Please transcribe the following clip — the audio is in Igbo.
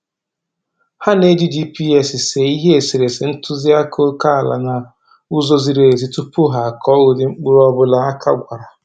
Ha na-eji GPS see ihe eserese ntụziaka oke ala n'ụzọ ziri ezi tupu ha akọ ụdị mkpụrụ ọbụla aka gwara